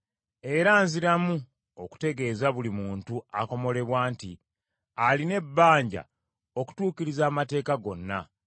Era nziramu okutegeeza buli muntu akomolebwa nti alina ebbanja okutuukiriza amateeka gonna.